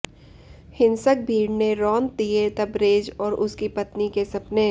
हिंसक भीड़ ने रौंद दिए तबरेज़ और उसकी पत्नी के सपने